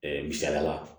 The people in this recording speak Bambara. misaliya la